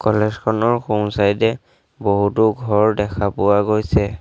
College খনৰ সোঁ side এ বহুতো ঘৰ দেখা পোৱা গৈছে।